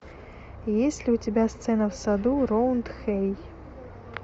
есть ли у тебя сцена в саду роундхэй